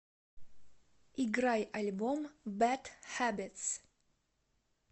играй альбом бэд хэбитс